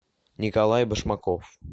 николай башмаков